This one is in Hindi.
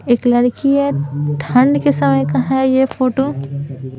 एक लड़की है ठंड के समय का है यह फोटो --